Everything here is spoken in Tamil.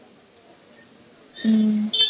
ஹம்